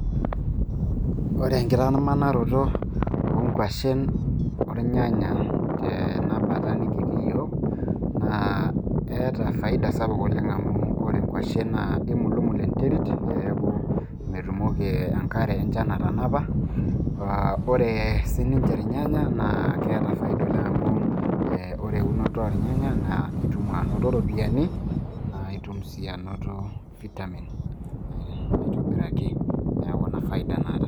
Ore enkitamanaroto oonkuashen olnyanya tenabata nikitii yiok naa keeta faida sapuk oleng' amu ore nkuashen naa keimulumul enterit peeku metumoki enkare enchan atanapa, ore sii ninche ilnyanya naa keeta faida oleng' amu ore eunoto olnyanya naa itum anoto iropiyiani naa itum sii anoto vitamin aitobiraki neeku ina faida naata.